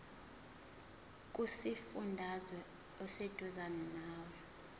kusifundazwe oseduzane nawe